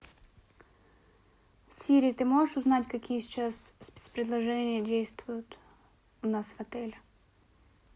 сири ты можешь узнать какие сейчас спецпредложения действуют у нас в отеле